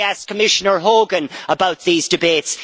I asked Commissioner Hogan about these debates.